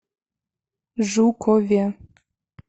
жукове